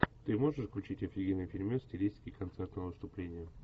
ты можешь включить офигенный фильмец в стилистике концертного выступления